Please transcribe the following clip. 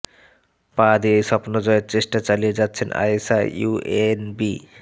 পা দিয়েই স্বপ্ন জয়ের চেষ্টা চালিয়ে যাচ্ছেন আয়েশা ইউএনবি